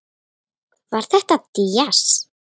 Var þetta djass?